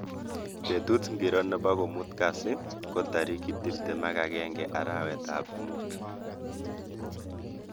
Betut ngiro nebo ko muut kasi ko tarik tuptem ak agenge arawetab Mut